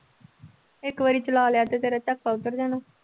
ਇੱਕ ਵਾਰੀ ਚਲਾ ਲਿਆ ਤੇ ਤੇਰਾ ਉੱਤਰ ਜਾਣਾ।